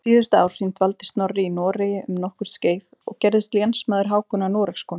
Síðustu ár sín dvaldi Snorri í Noregi um nokkurt skeið og gerðist lénsmaður Hákonar Noregskonungs.